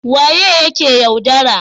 waye yake yaudara?